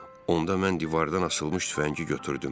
Onda mən divardan asılmış tüfəngi götürdüm.